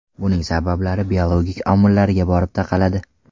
Buning sabablari biologik omillarga borib taqaladi.